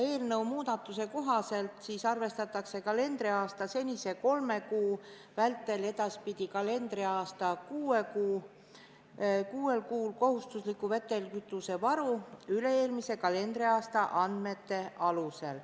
Eelnõu muudatuse kohaselt arvestatakse edaspidi mitte kalendriaasta kolmel kuul, vaid kalendriaasta kuuel kuul kohustuslik vedelkütusevaru üle-eelmise kalendriaasta andmete alusel.